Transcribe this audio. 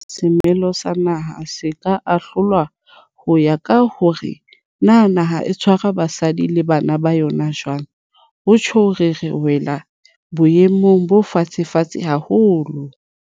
Haeba semelo sa naha se ka ahlolwa ho ya ka hore na naha e tshwara basadi le bana ba yona jwang, ho tjhong re wela boemong bo fatshefatshe haholo.